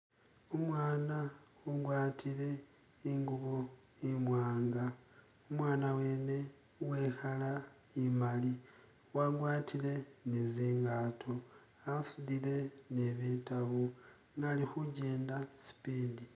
umwaana ugwatile ingubo imwaanga, umwaana wene uwe i'colour imali, wagwatile ni zingato asudile ni bitabu ne ali khujenda speed.